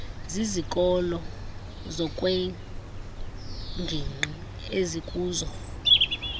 zizikolo ngokweengingqi ezikuzo